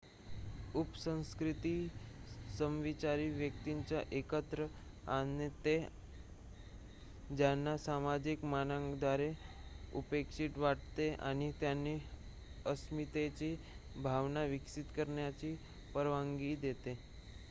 उपसंस्कृती समविचारी व्यक्तींना एकत्र आणते ज्यांना सामाजिक मानकांद्वारे उपेक्षित वाटते आणि त्यांना अस्मितेची भावना विकसित करण्याची परवानगी देते